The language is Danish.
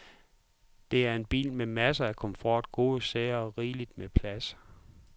Det er en bil med masser af komfort, gode sæder og rigelig med plads.